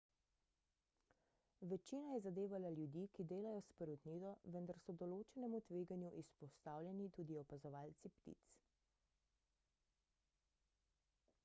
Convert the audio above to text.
večina je zadevala ljudi ki delajo s perutnino vendar so določenemu tveganju izpostavljeni tudi opazovalci ptic